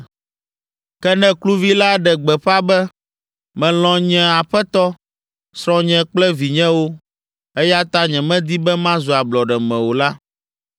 “Ke ne kluvi la ɖe gbeƒã be, ‘Melɔ̃ nye aƒetɔ, srɔ̃nye kple vinyewo, eya ta nyemedi be mazu ablɔɖeme o’ la,